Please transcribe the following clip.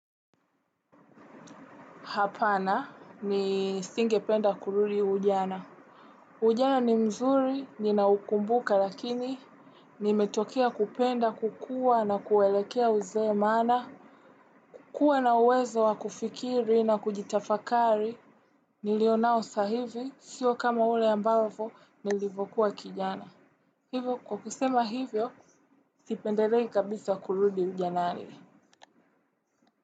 Hapana ni singe penda kurudi ujana. Ujana ni mzuri, ninaukumbuka lakini, nimetokea kupenda, kukua na kuelekea uzee mana. Kuwa na uwezo wa kufikiri na kujitafakari nilionao sahivi, sio kama ule ambavo, nilivokuwa kijana. Hivyo, kwa kusema hivyo, sipenderei kabisa kurudi ujana nani.